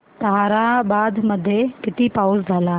ताहराबाद मध्ये किती पाऊस झाला